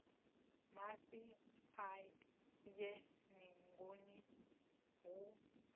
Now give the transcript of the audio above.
mafhi a ye ningoni hu